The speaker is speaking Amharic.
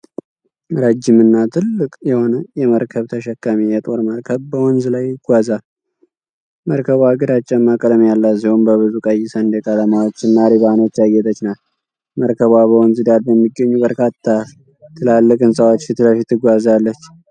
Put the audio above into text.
ረዥምና ትልቅ የሆነ የመርከብ ተሸካሚ የጦር መርከብ በወንዝ ላይ ይጓዛል። መርከቧ ግራጫማ ቀለም ያላት ሲሆን፣ በብዙ ቀይ ሰንደቅ ዓላማዎችና ሪባኖች ያጌጠች ናት። መርከቧ በወንዝ ዳር በሚገኙ በርካታ ትላልቅ ህንጻዎች ፊትለፊት ትጓዛለች።